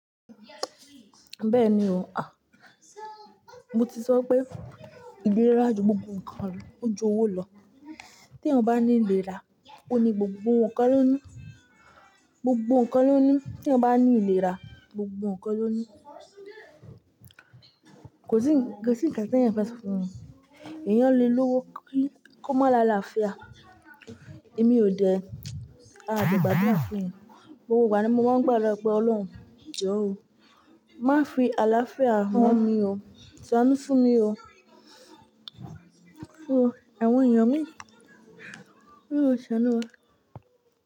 Bẹ́ẹ̀ni o. Àh, mo ti sọ pé ìlera ju gbogbo nǹkan lọ, ó ju owó lọ. T'ẹyan bá ní ìlera, ó ní gbogbo nǹkan ló ní. Gbogbo nǹkan ló ní. Tí ẹ bá ní ìlera, gbogbo nǹkan ló ní. Kò sí, kò sí ǹkan tí ẹ̀yin fẹ́ sọ fún mi. Èèyàn le lówó kí ó má là'làáfíà. Èmi ò dẹ, a de gbàdúrà fún yẹn. Gbo igbà ní mo mọ́ń gbàdúrà pé Ọlọ́run jọ̀ọ́ o, má fi àlàáfíà wón mí o. Ṣ'ánú fún mí o. Fún ẹ́, àwọn èèyàn mi. Mi ò ṣàánú wa.